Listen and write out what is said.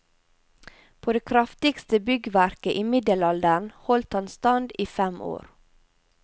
På det kraftigste byggverket i middelalderen holdt han stand i fem år.